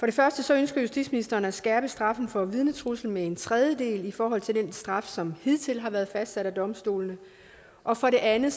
det første ønsker justitsministeren at skærpe straffen for vidnetrusler med en tredjedel i forhold til den straf som hidtil har været fastsat af domstolene og for det andet